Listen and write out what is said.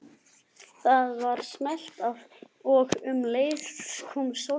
Það var smellt af og um leið kom Sólborg